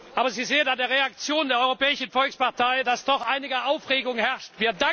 Aber Sie sehen an der Reaktion der Europäischen Volkspartei, dass doch einige Aufregung herrscht.